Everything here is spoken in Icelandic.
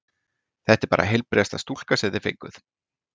Þetta er bara heilbrigðasta stúlka sem þið fenguð.